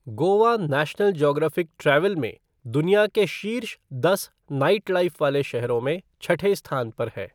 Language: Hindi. गोवा नेशनल ज्योग्राफिक ट्रैवल में दुनिया के शीर्ष दस नाइटलाइफ़ वाले शहरों में छठे स्थान पर है।